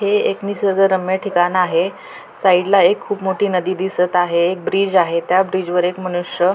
हे एक निसर्गरम्य ठिकाण आहे साइड ला एक खूप मोठी नदी दिसत आहे ब्रिज आहे त्या ब्रिज वर एक मनुष्य --